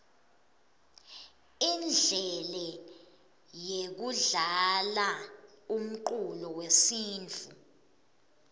indlele yekudlalaumculo wesintfu